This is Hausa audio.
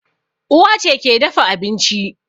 Uwa ce ke dafa abinci